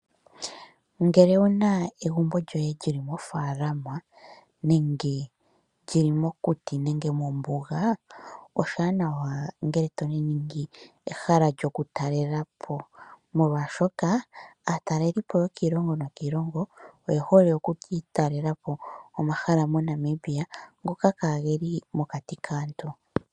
Ngele owuna egumbo djoye dyili mofaalama nenge dyili mokuti nenge mombuga, oshiwanawa nge toningi ehala dyoku taalelapo , molwaashoka aatalelipo yokii longo niilongo oyehole okutaalelapo omahala moNamiba ngooka kaageli mokati kaantu.